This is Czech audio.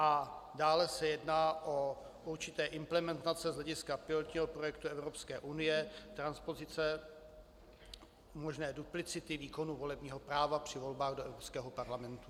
A dále se jedná o určité implementace z hlediska pilotního projektu Evropské unie, transpozice možné duplicity výkonu volebního práva při volbách do Evropského parlamentu.